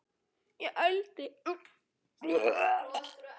Hafður til blóra?